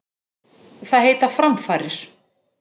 Það heita framfarir.